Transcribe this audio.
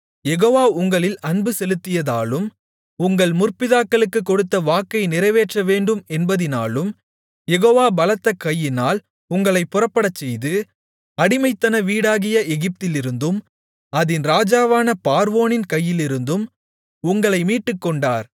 யெகோவா உங்களில் அன்புசெலுத்தியதாலும் உங்கள் முற்பிதாக்களுக்குக் கொடுத்த வாக்கை நிறைவேற்றவேண்டும் என்பதினாலும் யெகோவா பலத்த கையினால் உங்களைப் புறப்படச்செய்து அடிமைத்தன வீடாகிய எகிப்திலிருந்தும் அதின் ராஜாவான பார்வோனின் கையிலிருந்தும் உங்களை மீட்டுக்கொண்டார்